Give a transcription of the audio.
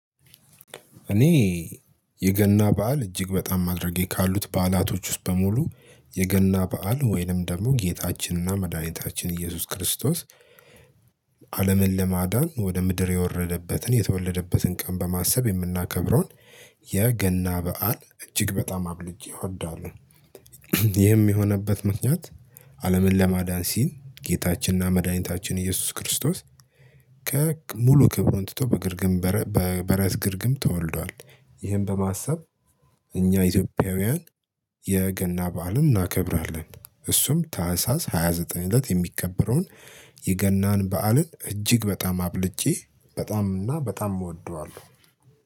እኔ የገና በዓል እጅግ በጣም አድርጌ ካሉት ባዕላቶች ውስጥ በሙሉ የገና በዓል ወይንም ደግሞ ጌታችንና መድኃኒታችን ኢየሱስ ክርስቶስ አለምን ለማዳን ወደ ምድር የወረደበትን የተወለደበትን ቀን በማሰብ የምናከብረውን የገና በዓል እጅግ በጣም አብልጬ እወዳለሁ። ይህም የሆነበት ምክንያት አለምን ለማዳን ሲል ጌታችንና መድኃኒታችን ኢየሱስ ክርስቶስ ከሙሉ ክብሩን ትቶ በግርግም በበረት ግርግም ተወልዷል። ይህን በማሰብ እኛ ኢትዮጵያውያን የገና በዓልም እናከብራለን። እሱም ታህሳስ ሃያ ዘጠኝ እለት የሚከበረውን የገናን በዓልን እጅግ በጣም አብልጬ በጣም እና በጣም እወደዋለሁ